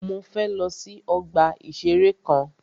Mọ fẹ lọ sí ọgbà ìṣẹ̀rẹ́ kan.